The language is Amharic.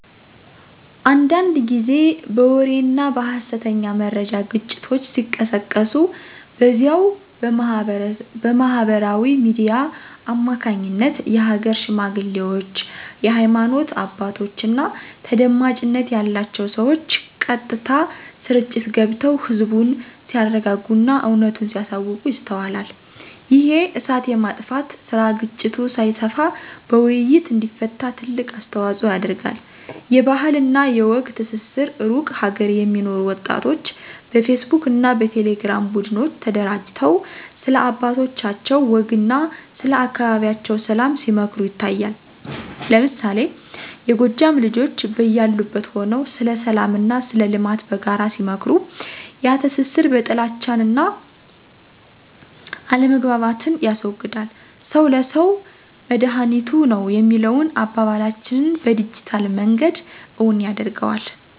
አንዳንድ ጊዜ በወሬና በሀሰተኛ መረጃ ግጭቶች ሲቀሰቀሱ፣ በዚያው በማህበራዊ ሚዲያ አማካኝነት የሀገር ሽማግሌዎች፣ የሃይማኖት አባቶችና ተደማጭነት ያላቸው ሰዎች ቀጥታ ስርጭት ገብተው ህዝቡን ሲያረጋጉና እውነቱን ሲያሳውቁ ይስተዋላል። ይሄ "እሳት የማጥፋት" ስራ ግጭቱ ሳይሰፋ በውይይት እንዲፈታ ትልቅ አስተዋጽኦ ያደርጋል። የባህልና የወግ ትስስር ሩቅ ሀገር የሚኖሩ ወጣቶች በፌስቡክና በቴሌግራም ቡድኖች ተደራጅተው፣ ስለ አባቶቻቸው ወግና ስለ አካባቢያቸው ሰላም ሲመክሩ ይታያል። ለምሳሌ፣ የጎጃም ልጆች በያሉበት ሆነው ስለ ሰላምና ስለ ልማት በጋራ ሲመክሩ፣ ያ ትስስር በጥልቻንና አለመግባባትን ያስወግዳል። "ሰው ለሰው መድሃኒቱ ነው" የሚለውን አባባላችንን በዲጂታል መንገድ እውን ያደርገዋል።